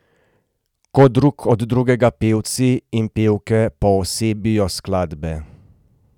Ko drug od drugega pevci in pevke poosebijo skladbe.